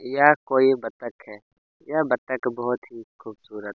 यह कोई बत्तक है यह बत्तक बहोत ही खूबसूरत--